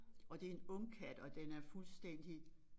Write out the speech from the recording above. Og det en ungkat og den er fuldstændig